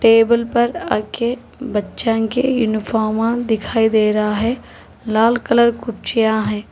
Table पर आगे बच्चन के यूनिफार्मा दिखाई दे रहा है लाल कलर कुर्सियां है।